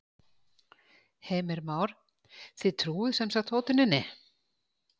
Heimir Már: Þið trúið sem sagt hótuninni?